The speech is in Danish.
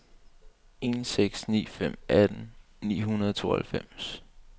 en seks ni fem atten ni hundrede og tooghalvfems